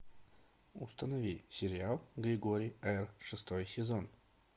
установи сериал григорий р шестой сезон